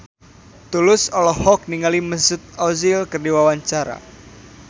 Tulus olohok ningali Mesut Ozil keur diwawancara